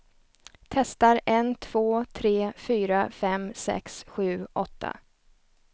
Testar en två tre fyra fem sex sju åtta.